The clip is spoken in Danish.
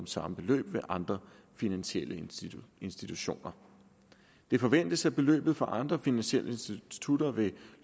samme beløb ved andre finansielle institutioner det forventes at beløbet fra andre finansielle institutter vil